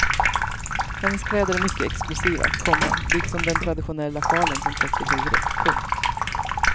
Hennes kläder är mycket exklusiva, komma liksom den traditionella sjalen som täcker huvudet. punkt